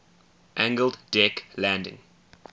angled deck landing